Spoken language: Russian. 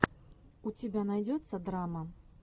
у тебя найдется драма